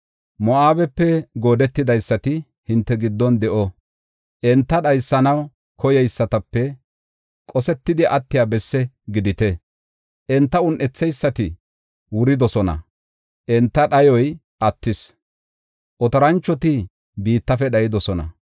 Moo7abepe goodeteysati hinte giddon de7o; enta dhaysanaw koyeysatape qosetidi attiya besse gidite. Enta un7etheysati wuridosona; enta dhayoy attis; otoranchoti biittafe dhayidosona.